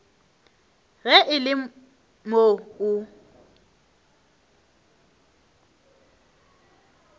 ge e le moo o